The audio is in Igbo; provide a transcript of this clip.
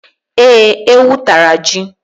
Ee, ewu tara ji.